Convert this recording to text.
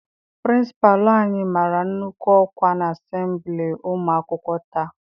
Pịrịnsịpalụ anyị mara nnukwu ọkwa n'asembili ụmụ akwụkwọ taa.